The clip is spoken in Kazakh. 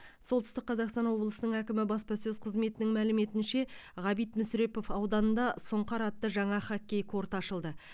солтүстік қазақстан облысының әкімі баспасөз қызметінің мәліметінше ғабит мүсірепов ауданында сұнқар атты жаңа хоккей корты ашылды